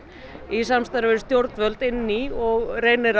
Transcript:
í samstarfi við stjórnvöld inn í og reynir